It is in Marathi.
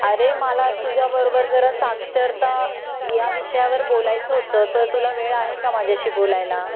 अरे मला तुझ्या बरोबर जरा साक्षरता या विषयावर बोलायच होत तर तुला वेळ आहे का माझ्याशी बोलायला